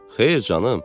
Xeyr, canım.